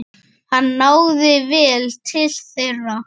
Hann náði vel til þeirra.